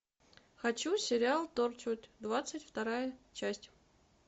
хочу сериал торчвуд двадцать вторая часть